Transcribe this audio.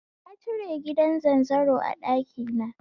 Na cire gidan zanzaro a ɗakina